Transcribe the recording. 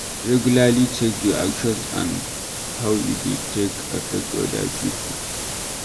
Regularly check your actions and how e dey take affect oda pipo